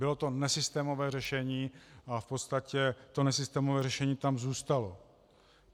Bylo to nesystémové řešení a v podstatě to nesystémové řešení tam zůstalo.